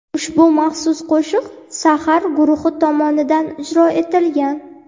Ushbu maxsus qo‘shiq "Sahar" guruhi tomonidan ijro etilgan.